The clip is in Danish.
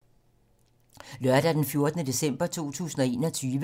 Lørdag d. 11. december 2021